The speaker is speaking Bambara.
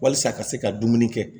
Walasa ka se ka dumuni kɛ